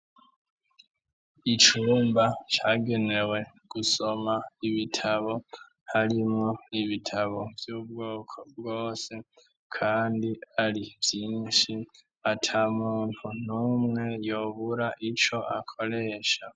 Icumba cagenewe gusoma, ibitabo harimwo ibitabo vy'ubwoko bwose, Kandi Ari vyinshi atamuntu numwe yobura ico akoresha.